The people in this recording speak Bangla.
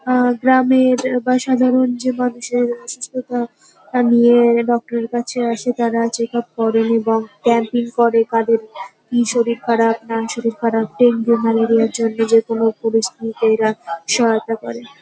আহ গ্রামের বা সাধারণ যে মানুষের অসুস্থতা তা নিয়ে ডাক্তার -এর কাছে আসে তারা চেক আপ করেন এবং ক্যাম্পিং করে কাদের কি শরীর খারাপ না শরীর খারাপ ডেঙ্গু ম্যালেরিয়ার জন্য যে কোন পরিস্থিতিতে এরা সহায়তা করে।